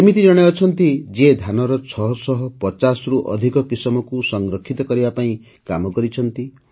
ଏମିତି ଜଣେ ଅଛନ୍ତି ଯିଏ ଧାନର ୬୫୦ରୁ ଅଧିକ କିସମକୁ ସଂରକ୍ଷିତ କରିବା କାମ କରିିଛନ୍ତି